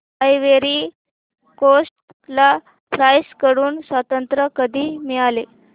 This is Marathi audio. आयव्हरी कोस्ट ला फ्रांस कडून स्वातंत्र्य कधी मिळाले